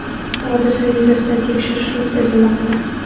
Hodisa yuzasidan tekshirish o‘tkazilmoqda.